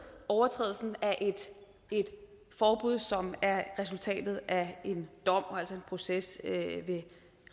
overtrædelse af et forbud som er resultatet af en dom og altså en proces ved